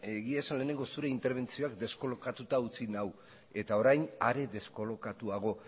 egia esan lehenengo zure interbentzioak deskolokatuta utzi nau eta orain are deskolokatuago